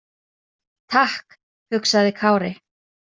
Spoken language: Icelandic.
Takk, hugsaði Kári.